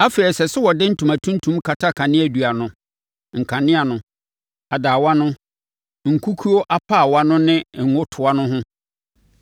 “Afei, ɛsɛ sɛ wɔde ntoma tuntum kata kaneadua no, nkanea no, adaawa no, nkukuo apaawa no ne ngo toa no ho.